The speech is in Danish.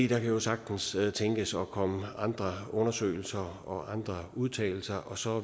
kan jo sagtens tænkes at komme andre undersøgelser og udtalelser og så